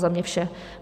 Za mě vše.